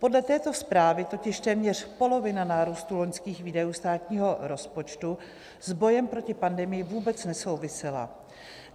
Podle této zprávy totiž téměř polovina nárůstu loňských výdajů státního rozpočtu s bojem proti pandemii vůbec nesouvisela.